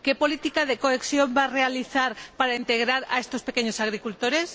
¿Qué política de cohesión va a realizar para integrar a estos pequeños agricultores?